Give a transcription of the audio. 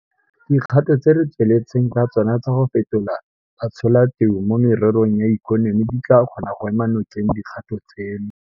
Dikgato tse re tsweletseng ka tsona tsa go fetola batsholateu mo mererong ya ikonomi di tla kgona go ema nokeng dikgato tseno.